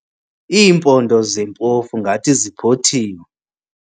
Iimpondo zempofu ngathi ziphothiwe.